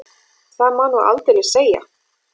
Það má nú aldeilis segja.